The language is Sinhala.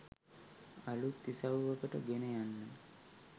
අලුත් ඉසව්වකට ගෙන යන්න